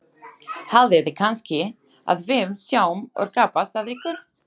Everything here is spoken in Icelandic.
Haldiði kannski að við séum að gabbast að ykkur?